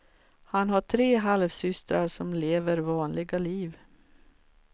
Han har tre halvsystrar som lever vanliga liv.